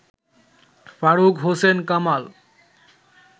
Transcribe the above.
Faruk Hossain Kamal